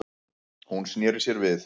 Hún sneri sér við.